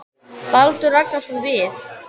Baldur Ragnarsson: Við?